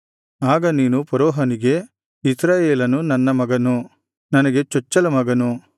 ಆಗ ನೀನು ಫರೋಹನಿಗೆ ಇಸ್ರಾಯೇಲನು ನನ್ನ ಮಗನು ನನಗೆ ಚೊಚ್ಚಲಮಗನು